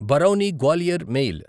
Barauni Gwalior mail